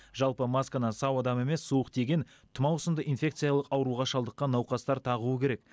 жалпы масканы сау адам емес суық тиген тұмау сынды инфекциялық ауруға шалдыққан науқастар тағуы керек